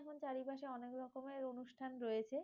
যেমন চারিপাশে অনেক রকমের অনুষ্ঠান রয়েছে।